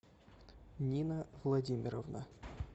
нина владимировна